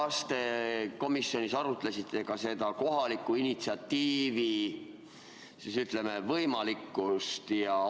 Kas te komisjonis arutasite ka seda kohaliku initsiatiivi, ütleme, võimalikkust?